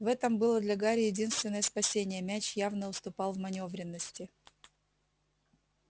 в этом было для гарри единственное спасение мяч явно уступал в манёвренности